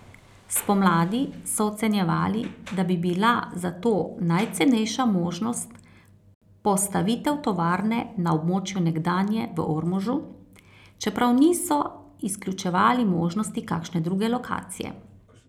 Spomladi so ocenjevali, da bi bila za to najcenejša možnost postavitev tovarne na območju nekdanje v Ormožu, čeprav niso izključevali možnosti kakšne druge lokacije.